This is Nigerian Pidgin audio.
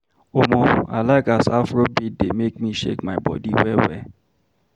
Omo, I like as Afrobeat dey make me shake my body well well.